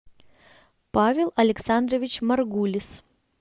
павел александрович маргулис